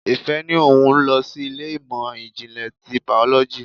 Ìfẹ́ ní òun lọ sí ilé ìmọ̀ ìjìnlẹ̀ ti biology.